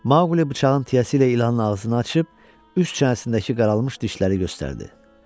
Maqli bıçağın tiyəsi ilə ilanın ağzını açıb üst çənəsindəki qaralmış dişləri göstərdi.